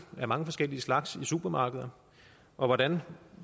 af mange forskellige slags i supermarkeder hvordan